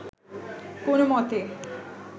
কোন মতে